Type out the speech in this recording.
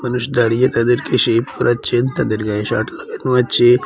দাঁড়িয়ে তাদেরকে শেভ করাচ্ছে তাদের গায়ে শার্ট লাগানো আছে।